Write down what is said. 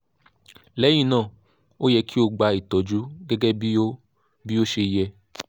lẹ́yìn náà o yẹ kí o gba ìtọ́jú gẹ́gẹ́ bí ó bí ó ṣe yẹ